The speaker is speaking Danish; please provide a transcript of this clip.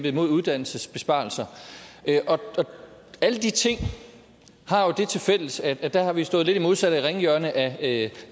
imod uddannelsesbesparelser alle de ting har jo det tilfælles at der har vi stået lidt i det modsatte ringhjørne af